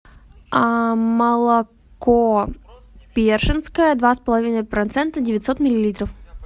молоко першинское два с половиной процента девятьсот миллилитров